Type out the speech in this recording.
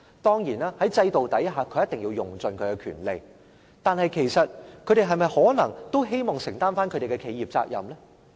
當然，在制度下，他們一定要用盡其權利，但他們是否也可能希望承擔企業責任？